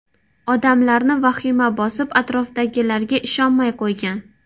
Odamlarni vahima bosib, atrofdagilarga ishonmay qo‘ygan.